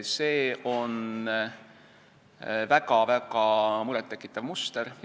See on väga-väga muret tekitav muster.